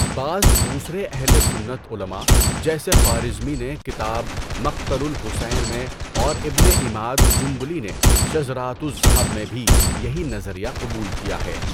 بعض دوسرے اہل سنت علماء جیسے خوارزمی نے کتاب مَقْتَلُ الحُسَین میں اور ابنِ عِمَاد جنبلی نے شذراتُ الذَّھَب میں بھی یہی نظریہ قبول کیا ہے۔